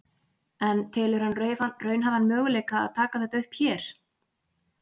En telur hann raunhæfan möguleika að taka þetta upp hér?